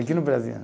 Aqui no Brasil.